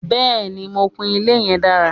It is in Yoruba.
Bẹ́ẹ̀ni, mo kùn ilé yẹn dára.